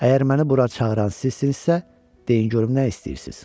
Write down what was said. Əgər məni bura çağıran sizsinizsə, deyin görüm nə istəyirsiz.